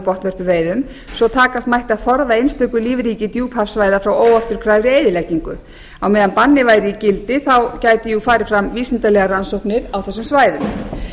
botnvörpuveiðum svo takast mætti að forða einstöku lífríki djúphafssvæða frá óafturkræfri eyðileggingu á meðan bannið væri í gildi gætu farið fram vísindalegar rannsóknir á þessum svæðum